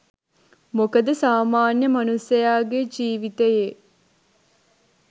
මොකද සාමාන්‍ය මනුස්සයාගේ ජීවිතයේ